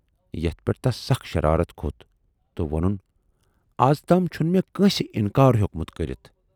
یَتھ پٮ۪ٹھ تَس سخ شرارتھ کھوت تہٕ وونُن، ازتام چھُنہٕ میہ کٲنسہِ اِنکار ہیوکمُت کٔرِتھ